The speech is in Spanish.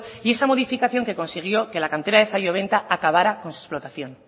y esa modificación que consiguió que la cantera de zalloventa acabará con su explotación